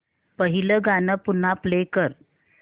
पहिलं गाणं पुन्हा प्ले कर